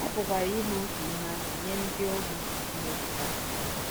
A pụkwara ime otu ihe ahụ nye ndị ohu Chineke taa.